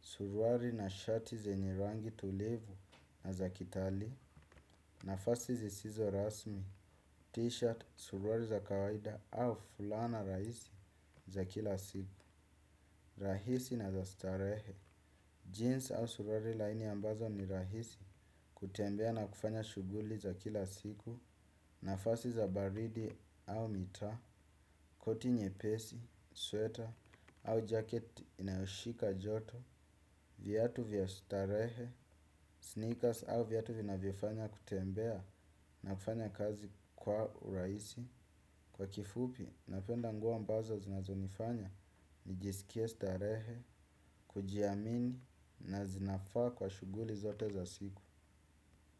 Suruali na shati zina rangi tulivu na za kitalii. Nafasi zisizo rasmi. T-shirt, suruali za kawaida au fulana rahisi za kila siku. Rahisi na za starehe. Jeans au suruali laini ambazo ni rahisi. Kutembea na kufanya shughuli za kila siku, nafasi za baridi au mitaa. Koti nyepesi, sweater au jacket inayoshika joto. Viatu vya starehe, sneakers au viatu vinavyofanya kutembea na kufanya kazi kwa urahisi. Kwa kifupi, napenda nguo ambazo zinazonifanya, nijisikie starehe, kujiamini na zinafaa kwa shughuli zote za siku.